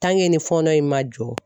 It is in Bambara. ni fɔɔnɔ in man jɔ